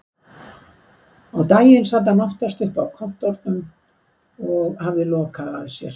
Á daginn sat hann oftast uppi á kontórnum og hafði lokað að sér.